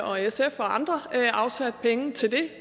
og sf og andre afsat penge til det